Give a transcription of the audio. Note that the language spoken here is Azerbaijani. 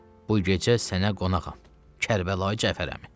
Bu gecə sənə qonağam, Kərbəlayi Cəfər əmi.